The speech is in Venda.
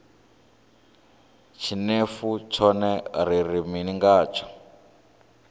tshinefu tshone ri ri mini ngatsho